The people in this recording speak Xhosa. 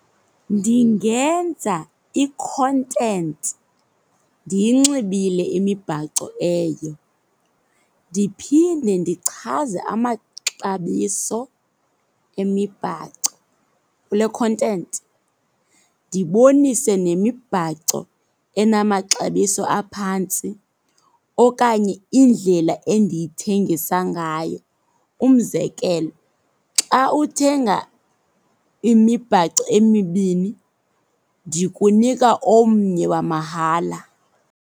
Ndingenza i-content ndiyinxibile imibhaco eyo. Ndiphinde ndichaze amaxabiso emibhaco kule content. Ndibonise nemibhaco enamaxabiso aphantsi okanye indlela endiyithengisa ngayo. Umzekelo, xa uthenga imibhaco emibini ndikunika omnye wamahala.